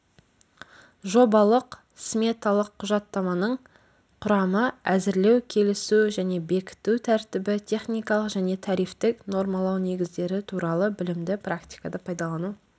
жобалық-сметалық құжаттаманың құрамы әзірлеу келісу және бекіту тәртібі техникалық және тарифтік нормалау негіздері туралы білімді практикада пайдалану